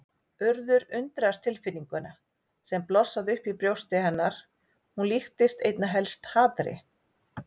Urður undraðist tilfinninguna sem blossaði upp í brjósti hennar, hún líktist einna helst hatri.